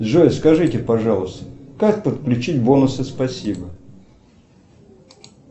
джой скажите пожалуйста как подключить бонусы спасибо